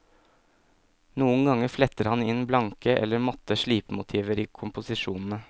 Noen ganger fletter han inn blanke eller matte slipemotiver i komposisjonene.